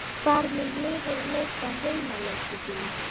Hvar mun liðið leika heimaleiki sína?